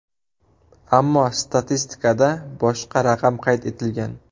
Ammo statistikada boshqa raqam qayd etilgan.